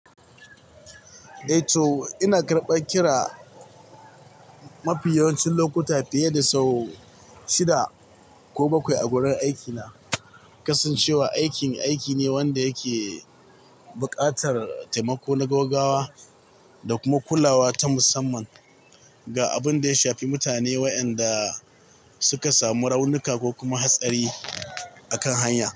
Eh To ina karɓa kira mafi yawancin lokuta fiye da sau shida ko bakwai a wurin aikina, kasancewa aikin aiki ne wanda yake buƙatar taimako na gaggawa da kuma kulawa ta musamman ga abin da ya shafi mutane waɗanda suka samu raunuka ko kuma hatsari a kan hanya.